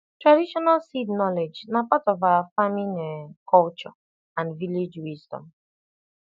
traditional seed knowledge na part of our farming um culture and village wisdom